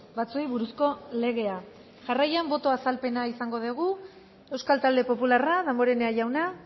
batzuei buruzko legea jarraian boto azalpena izango dugu euskal talde popularra damborenea jauna